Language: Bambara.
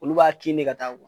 Olu b'a kin de ka taa